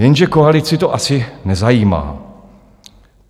Jenže koalici to asi nezajímá.